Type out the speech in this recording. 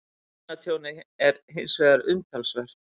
Eignatjónið er hins vegar umtalsvert